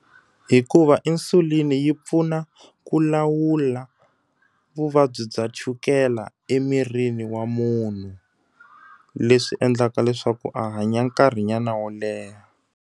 Hikuva insulin-i yi pfuna ku lawula vuvabyi bya chukela emirini wa munhu. Leswi endlaka leswaku a hanya nkarhinyana wo leha.